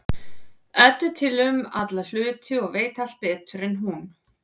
Eddu til um alla hluti og veit allt betur en hún.